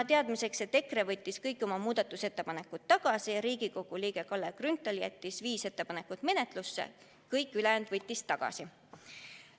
EKRE võttis kõik oma muudatusettepanekud tagasi, Riigikogu liige Kalle Grünthal jättis viis ettepanekut menetlusse, kõik ülejäänud võttis tagasi.